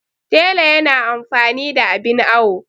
tela yana amfani da abin awo